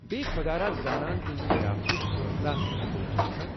بییہِ خۄدا زانان تہنزٕ ضِیافتہٕ كٲژاہ ہندرِ چھِ آسان ۔